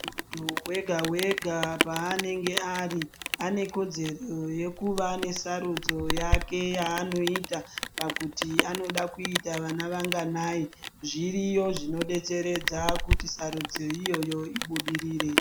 Muntu wega wega, pa anenge ari, anekodzero yekuva nesarudzo yake yanoita , pakuti anoda kuita vana vanganayi. Zviriyo zvinodetseredza kuti sarudzo iyoyo ibudirire.